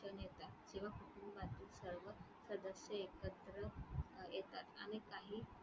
तेव्हा कुटुंबातील सर्व सदस्य एकत्र अं येतात आणि काही